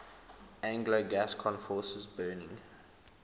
anglo gascon forces burning